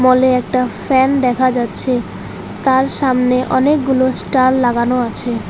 হলে একটা ফ্যান দেখা যাচ্ছে তার সামনে অনেকগুলো স্টার লাগানো আছে।